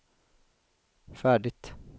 färdigt